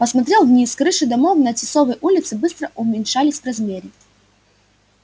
посмотрел вниз с крыши домов на тисовой улице быстро уменьшались в размере